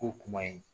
K'o kuma in